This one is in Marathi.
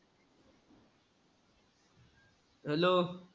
Hello.